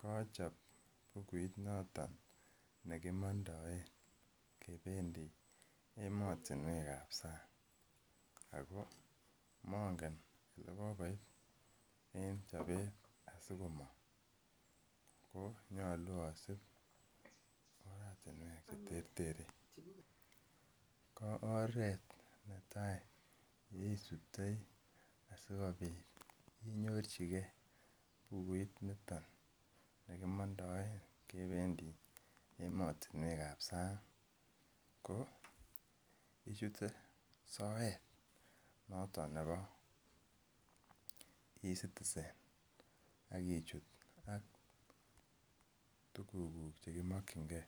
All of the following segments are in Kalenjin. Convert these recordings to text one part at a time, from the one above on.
Kachop bukuit noton ne kimondoen kebendi emotinwek ab sang ago mongen ole kogoit en chobet sikomong ko nyolu asib oratinwek che terterchin. Ko oret netai neisubtoi asikobit inyorji ge bukuit niton ne kimondoen kebendi emotinwek ab sang koichute soet noton nebo E-Citizen ak ichut ak tuguk che kimokinge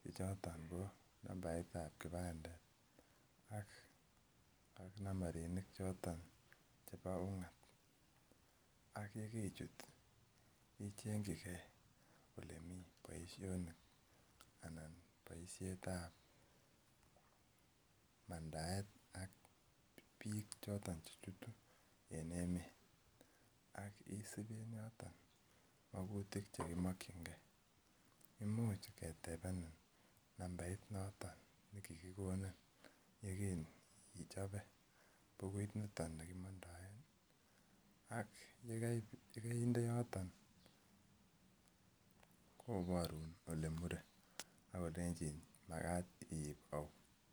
che choto ko nambaitab kipandet ak nambarinik choto chebo ung'at ak ye kerichut ichengike ole mi boiisioni anan boisietab mandaet ak biik choto che chutu en emet ak isib en yoton magutik che kimokinge, imuch ketebenin nambait noton ne kigikonin ye kin ichope bukuit noton ne kimondoen ak ye kainde yoton koborun ole mure ak kolenjin magat iib au.